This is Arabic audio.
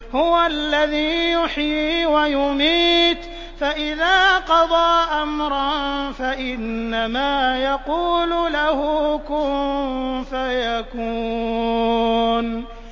هُوَ الَّذِي يُحْيِي وَيُمِيتُ ۖ فَإِذَا قَضَىٰ أَمْرًا فَإِنَّمَا يَقُولُ لَهُ كُن فَيَكُونُ